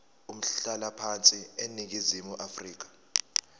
umhlalaphansi eningizimu afrika